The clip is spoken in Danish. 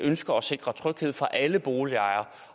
ønsker at sikre tryghed for alle boligejere